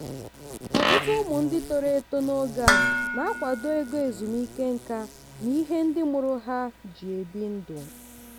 ọtụtụ ụmụ ndị toro eto n'oge a na-akwado ego ezumike nká na ihe ndị mụrụ ha ji ebi ndụ.